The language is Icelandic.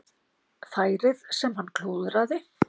Færið sem hann klúðraði?